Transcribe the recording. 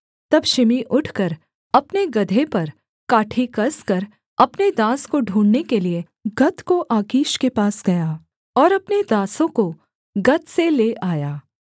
तब शिमी उठकर अपने गदहे पर काठी कसकर अपने दास को ढूँढ़ने के लिये गत को आकीश के पास गया और अपने दासों को गत से ले आया